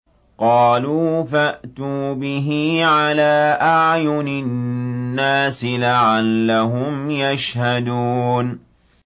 قَالُوا فَأْتُوا بِهِ عَلَىٰ أَعْيُنِ النَّاسِ لَعَلَّهُمْ يَشْهَدُونَ